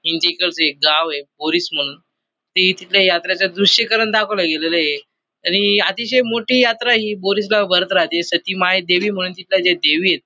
एक गावय बोरीस म्हणून ती तिथल्या यात्रेच्या दृश्यि करण दाखवल गेलेलय आणि अतिशय मोठी यात्रा हि बोरीस गाव भरत राहते सती माय देवी म्हणून तिथल्या ज्या देवीयेत--